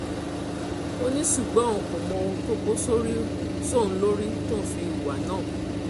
ó ní ṣùgbọ́n òun kò mọ ohun tó kó sóhun lórí tóun fi hùwà náà